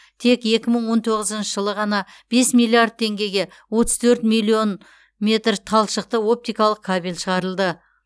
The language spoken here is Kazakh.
тек екі мың он тоғызыншы жылы ғана бес миллиард теңгеге отыз төрт миллион метр талшықты оптикалық кабель шығарылды